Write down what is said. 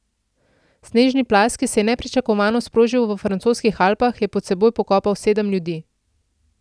Snežni plaz, ki se je nepričakovano sprožil v francoskih Alpah, je pod seboj pokopal sedem ljudi.